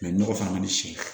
nɔgɔ fana man di